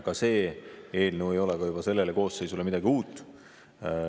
Ka see eelnõu ei ole sellele koosseisule midagi uut.